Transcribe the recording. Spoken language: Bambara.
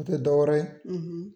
O te dɔ wɛrɛ ye